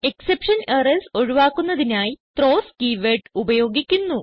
exception errors ഒഴുവാക്കുന്നതിനായി throws keywordഉപയോഗിക്കുന്നു